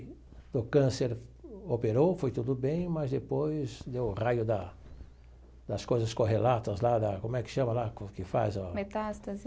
O câncer operou, foi tudo bem, mas depois deu o raio da das coisas correlatas lá da, como é que chama lá quando que faz o? Metástase.